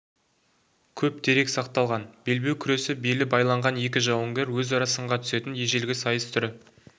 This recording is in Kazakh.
көп дерек сақталған белбеу күресі белі байланған екі жауынгер өзара сынға түсетін ежелгі сайыс түрі